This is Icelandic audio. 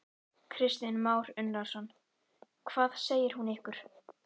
Kristján Már Unnarsson: Hvað segir hún ykkur?